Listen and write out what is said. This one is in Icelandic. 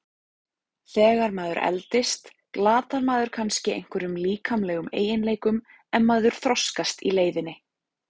Þegar maður eldist glatar maður kannski einhverjum líkamlegum eiginleikum en maður þroskast í leiðinni.